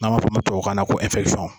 N'an b'a fɔ a ma tubabu kan na ko